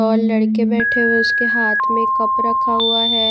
और लड़के बैठे हुए उसके हाथ में कप रखा हुआ है।